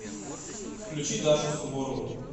включи дашу суворову